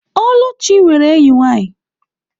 Oluchi nwere enyi nwanyi.